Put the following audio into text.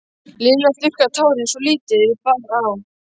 Lilla þurrkaði tárin svo lítið bar á.